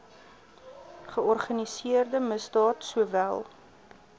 georganiseerde misdaad sowel